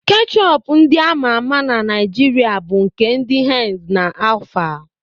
Keshọp ndị ama ama na Naịjiria bụ nke ndị henz na alfa.